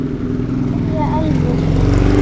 Kveðja Elfur.